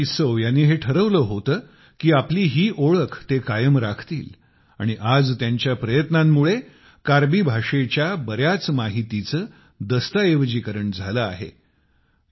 सिकारी टिस्सौ यांनी हे ठरवले होते कि आपली ही ओळख ते कायम राखतील आणि आज त्यांच्या प्रयत्नांमुळे कार्बी भाषेच्या बऱ्याच माहितीचे दस्तऐवजीकरण झाले आहे